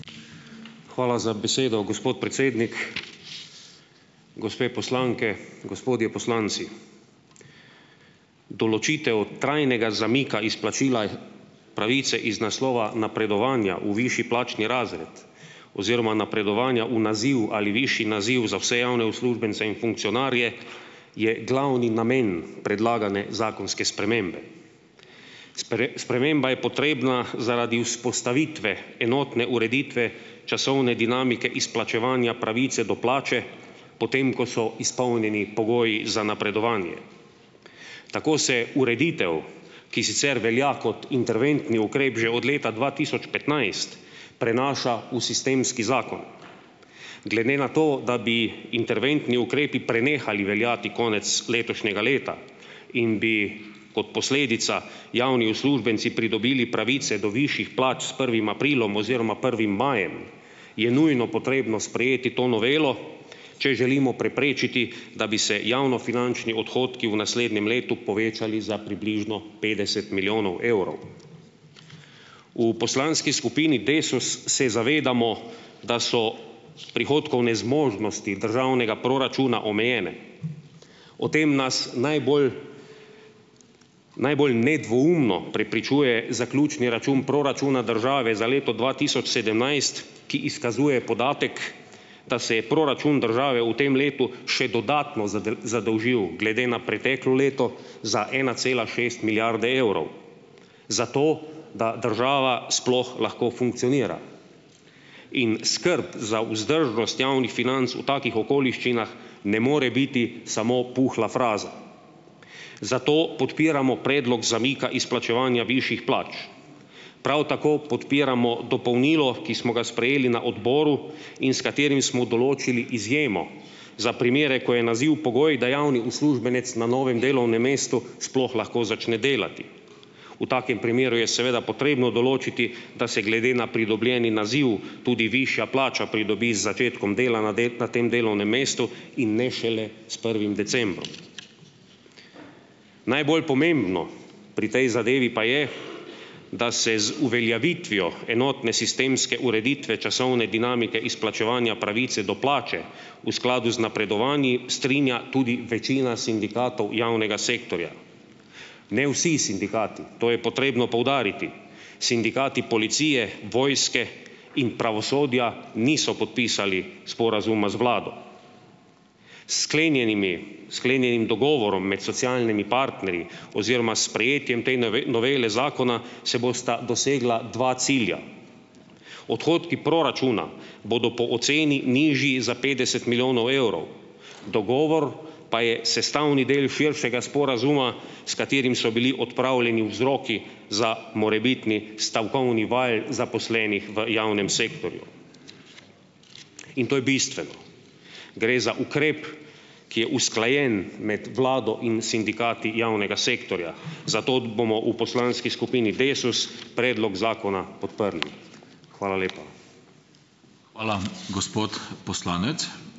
Hvala za besedo, gospod predsednik. gospe poslanke, gospodje poslanci! Določitev trajnega zamika izplačila pravice iz naslova napredovanja v višji plačni razred oziroma napredovanja v naziv ali višji naziv za vse javne uslužbence in funkcionarje je glavni namen predlagane zakonske spremembe. sprememba je potrebna zaradi vzpostavitve enotne ureditve časovne dinamike izplačevanja pravice do plače potem, ko so izpolnjeni pogoji za napredovanje. Tako se ureditev, ki sicer velja kot interventni ukrep že od leta dva tisoč petnajst, prenaša v sistemski zakon. Glede na to, da bi interventni ukrepi prenehali veljati konec letošnjega leta in bi kot posledica javni uslužbenci pridobili pravice do višjih plač s prvim aprilom oziroma prvim majem, je nujno potrebno sprejeti to novelo, če želimo preprečiti, da bi se javnofinančni odhodki v naslednjem letu povečali za približno petdeset milijonov evrov. V poslanski skupini Desus se zavedamo, da so prihodkovne zmožnosti državnega proračuna omejene. O tem nas najbolj najbolj nedvoumno prepričuje zaključni račun proračuna države za leto dva tisoč sedemnajst, ki izkazuje podatek, da se je proračun države v tem letu še dodatno zadolžil. Glede na preteklo leto za ena cela šest milijarde evrov. Zato da država sploh lahko funkcionira. In skrb za vzdržnost javnih financ v takih okoliščinah ne more biti samo puhla fraza. Zato podpiramo predlog zamika izplačevanja višjih plač. Prav tako podpiramo dopolnilo, ki smo ga sprejeli na odboru in s katerim smo določili izjemo za primere, ko je naziv pogoj, da javni uslužbenec na novem delovnem mestu sploh lahko začne delati. V takem primeru je seveda potrebno določiti, da se glede na pridobljeni naziv tudi višja plača pridobi z začetkom dela na del na tem delovnem mestu in ne šele s prvim decembrom. Najbolj pomembno pri tej zadevi pa je, da se z uveljavitvijo enotne sistemske ureditve časovne dinamike izplačevanja pravice do plače v skladu z napredovanji strinja tudi večina sindikatov javnega sektorja. Ne vsi sindikati. To je potrebno poudariti. Sindikati policije, vojske in pravosodja, niso podpisali sporazuma z vlado. S sklenjenimi, sklenjenim dogovorom med socialnimi partnerji oziroma s sprejetjem te novele zakona se bosta dosegla dva cilja: odhodki proračuna bodo po oceni nižji za petdeset milijonov evrov. Dogovor pa je sestavni del širšega sporazuma, s katerim so bili odpravljeni vzroki za morebitni stavkovni val zaposlenih v javnem sektorju. In to je bistveno. Gre za ukrep, ki je usklajen med vlado in sindikati javnega sektorja, zato bomo v poslanski skupini Desus predlog zakona podprli. Hvala lepa.